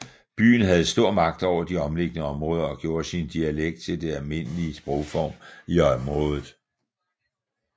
Byen havde stor magt over de omliggende områder og gjorde sin dialekt til det almindelige sprogform i området